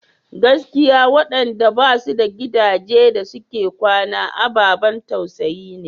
Gaskiya waɗanda ba su da gidaje da suke kwana ababan tausayi ne.